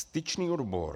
Styčný odbor.